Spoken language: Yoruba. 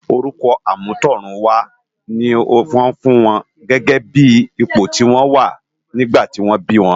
Órùkò àmútòrúnwá ni wòn fún áwòn gègè bi ipó ti wòn wá nigbá tò bi wòn